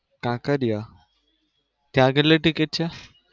કાંકરિયા, ત્યાં કેટલી ટિકિટ છે?